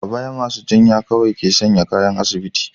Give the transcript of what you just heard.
A baya, masu jinya kawai ke sa kayan asibiti.